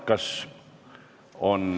Kas on ...